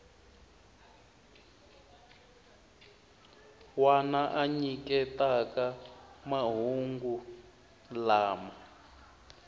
wana a nyiketaka mahungu lama